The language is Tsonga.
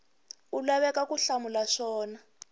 u lavaka ku hlamula swona